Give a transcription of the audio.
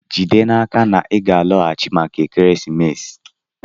Jide n'aka na ị ga-alọghachi maka ekeresimesi!